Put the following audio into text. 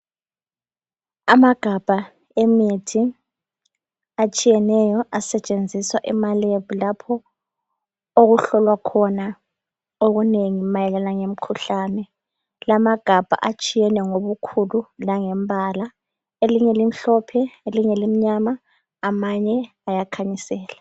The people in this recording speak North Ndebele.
Amagabha emithi atshiyeneyo asetshenziswa ema lab lapho okuhlolwa khona okunengi mayelana ngemikhuhlane. Lamagabha atshiyeneyo ngobukhulu langembala. Elinye limhlophe elinye limnyama amanye ayakhanyisela.